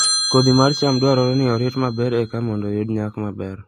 Kodhi mar cham dwarore ni orit maber eka mondo oyud nyak maber